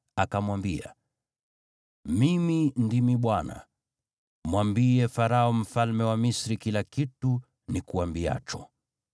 akamwambia, “Mimi ndimi Bwana . Mwambie Farao mfalme wa Misri kila kitu nikuambiacho.”